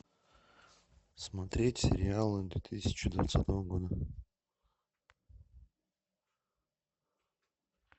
смотреть сериалы две тысячи двадцатого года